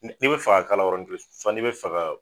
Ni be fɛ ka kala yɔrɔni kelen n'i be fe ka